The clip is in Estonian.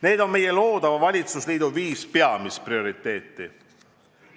Need on meie loodava valitsusliidu viis peamist prioriteeti.